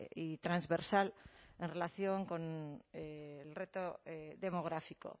y transversal en relación con el reto demográfico